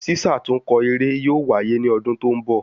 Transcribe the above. Sísàtúnkọ eré yóò waye ni ọdún tó ń bọ̀